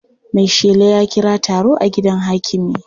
Maishela ya kira taro a gidan hakimi.